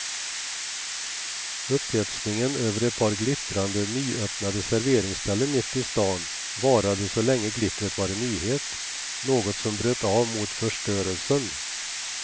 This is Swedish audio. Upphetsningen över ett par glittrande nyöppnade serveringsställen mitt i stan varade så länge glittret var en nyhet, något som bröt av mot förstörelsen.